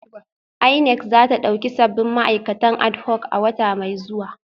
INEC za ta dauki sabbin ma'aikatan adhoc a wata mai zuwa